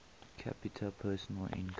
capita personal income